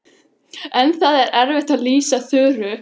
En það er erfitt að lýsa Þuru.